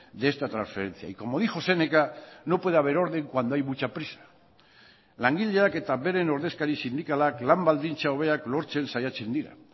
de esta transferencia y como dijo séneca no puede haber orden cuando hay mucha prisa langileak eta beren ordezkari sindikalak lan baldintza hobeak lortzen saiatzen dira